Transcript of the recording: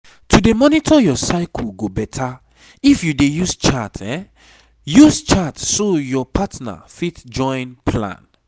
to dey monitor your cycle go better if you dey use chart use chart so your partner fit join plan